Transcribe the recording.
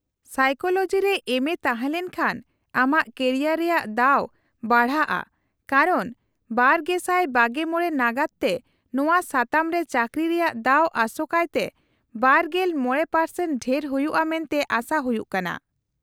-Psychology ᱨᱮ MA ᱛᱟᱦᱮᱸᱞᱮᱱ ᱠᱷᱟᱱ ᱟᱢᱟᱜ ᱠᱮᱨᱤᱭᱟᱨ ᱨᱮᱭᱟᱜ ᱫᱟᱣ ᱵᱟᱲᱦᱟᱜᱼᱟ ᱠᱟᱨᱚᱱ ᱒᱐᱒᱕ ᱱᱟᱜᱟᱫ ᱛᱮ ᱱᱚᱶᱟ ᱥᱟᱛᱟᱢ ᱨᱮ ᱪᱟᱠᱨᱤ ᱨᱮᱭᱟᱜ ᱫᱟᱣ ᱟᱥᱚᱠᱟᱭᱛᱮ ᱒᱕% ᱰᱷᱮᱨ ᱦᱩᱭᱩᱜᱼᱟ ᱢᱮᱱᱛᱮ ᱟᱥᱟ ᱦᱩᱭᱩᱜ ᱠᱟᱱᱟ ᱾